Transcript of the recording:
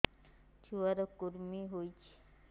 ଛୁଆ ର କୁରୁମି ହୋଇଛି